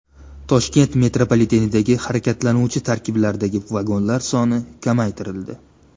Toshkent metropolitenidagi harakatlanuvchi tarkiblardagi vagonlar soni kamaytirildi .